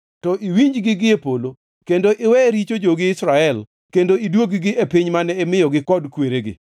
to iwinjgi gi e polo kendo iwe richo jogi Israel kendo iduog-gi e piny mane imiyogi kod kweregi.